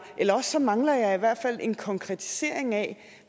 ellers mangler jeg i hvert fald en konkretisering af